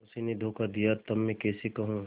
उसी ने धोखा दिया तब मैं कैसे कहूँ